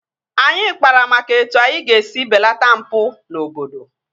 Anyị kpara maka etu anyị ga-esi belata mpụ n'obodo